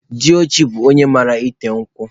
Diochi bụ onye mara ete nkwụ.